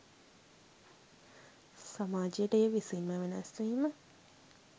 සමාජයට එය විසින්ම වෙනස්වීම